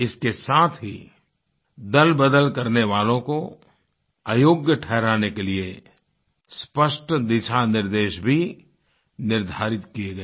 इसके साथ ही दलबदल करने वालों को अयोग्य ठहराने के लिए स्पष्ट दिशानिर्देश भी निर्धारित किये गए